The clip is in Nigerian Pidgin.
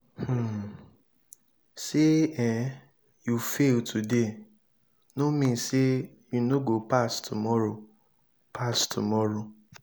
um sey um you fail today no mean sey you no go pass tomorrow. pass tomorrow.